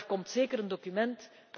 Maar er komt zeker een document.